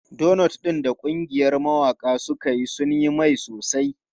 Donots ɗin da ƙungiyar mawaƙa suka yi sun yi mai sosai.